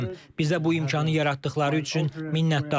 Bizə bu imkanı yaratdıqları üçün minnətdarıq.